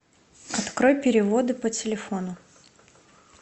открой переводы по телефону